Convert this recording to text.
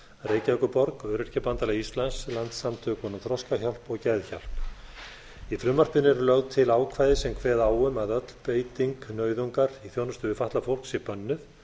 reykjavíkurborg öryrkjabandalagi íslands landssamtökunum þroskahjálp og geðhjálp í frumvarpinu eru lögð til ákvæði sem kveða á um að öll beiting nauðungar í þjónustu við fatlað fólk sé bönnuð